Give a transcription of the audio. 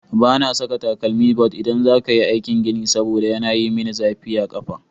Ba na saka takalmi but idan za ka yi aikin gini saboda yana yi min zafi a ƙafa.